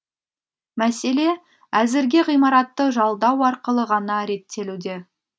мәселе әзірге ғимаратты жалдау арқылы ғана реттелуде